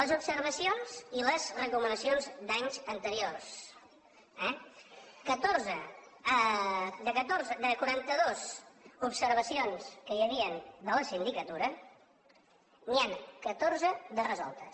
les observacions i les recomanacions d’anys anteriors eh catorze de quarantadues observacions que hi havien de la sindicatura n’hi han catorze de resoltes